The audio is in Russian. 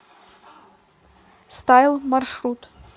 стайл маршрут